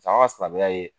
Saga ka silamɛya ye